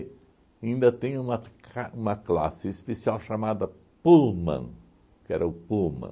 ainda tem uma ca uma classe especial chamada Pullman, que era o Pullman.